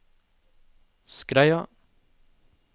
Skreia